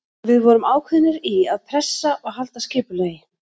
Við vorum ákveðnir í að pressa og halda skipulagi.